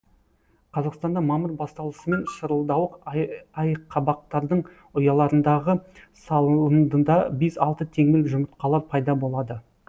қазақстанда мамыр басталысымен шырылдауық айқабақтардың ұяларындағы салындыда бес алты теңбіл жұмыртқалар пайда болады